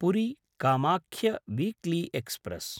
पुरी–कामाख्य weekly express